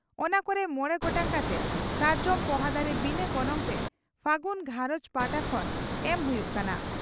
ᱚᱱᱟ ᱠᱚᱨᱮ ᱢᱚᱬᱮ ᱜᱚᱴᱟᱝ ᱠᱟᱛᱮ ᱥᱟᱨᱡᱚᱢ ᱯᱚᱦᱟ ᱫᱟᱨᱮ ᱵᱤᱱᱟᱹ ᱜᱚᱱᱚᱝᱛᱮ 'ᱯᱷᱟᱹᱜᱩᱱ ᱜᱷᱟᱨᱚᱸᱡᱽ' ᱯᱟᱦᱟᱴᱟ ᱠᱷᱚᱱ ᱮᱢ ᱦᱩᱭᱩᱜ ᱠᱟᱱᱟ ᱾